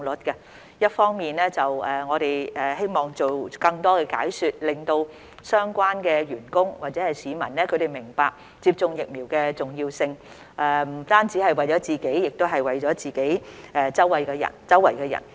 一方面，我們希望做更多解說，令相關的員工或市民明白接種疫苗的重要性不單只是為了自己，亦是為了身邊人。